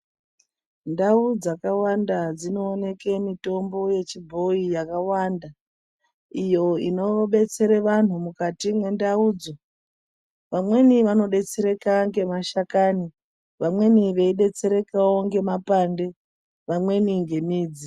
Ndau dzakawanda dzinooneke mitombo yechibhoi yakawanda iyo inobetsere vantu mukati mendaudzo. Vamweni vanodetsereka ngemashakani, vamweni veidetserekawo ngemapande, vamweni ngemidzi.